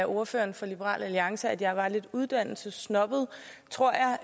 ordføreren for liberal alliance at jeg er lidt uddannelsessnobbet tror jeg